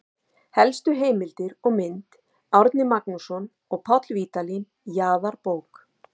Helstu heimildir og mynd: Árni Magnússon og Páll Vídalín, Jarðabók.